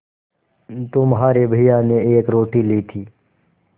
तुम्हारे भैया ने एक रोटी ली थी